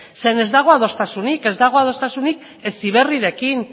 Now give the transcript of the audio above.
zeren ez dago adostasunik ez dago adostasunik heziberrirekin